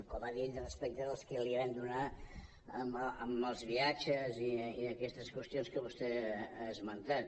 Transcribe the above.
com ha dit respecte de les que li vam donar dels viatges i aquestes qüestions que vostè ha esmentat